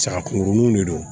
Saga kunkuruninw de don